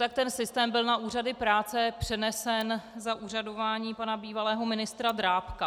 Tak ten systém byl na úřady práce přenesen za úřadování pana bývalého ministra Drábka.